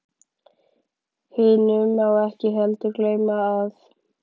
Hinu má ekki heldur gleyma, að